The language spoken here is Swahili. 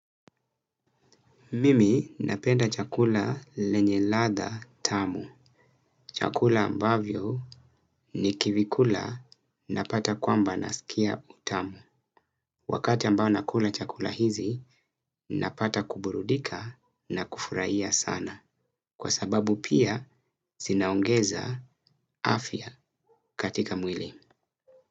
Mimi napenda chakula lenye ladha tamu. Chakula ambavyo nikivikula napata kwamba nasikia utamu. Wakati ambao nakula chakula hizi napata kuburudika na kufurahia sana. Kwa sababu pia zinaongeza afya katika mwili.